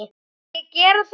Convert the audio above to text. Vil ég gera það?